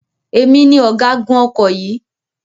Èmi ni ọ̀gágun ọkọ̀ yìí.